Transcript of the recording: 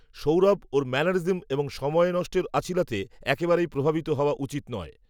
সৌরভ ওর ম্যানারিজম এবং সময় নষ্টের অছিলাতে একেবারেই প্রভাবিত হওয়া উচিত নয়